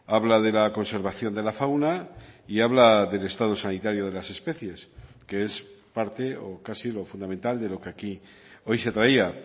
habla de la conservación de la fauna y habla del estado sanitario de las especies que es parte o casi lo fundamental de lo que aquí hoy se traía